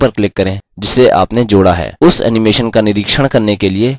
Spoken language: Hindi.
dialog box को बंद करने के लिए ok पर click करें